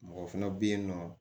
Mɔgɔ fana bɛ yen nɔ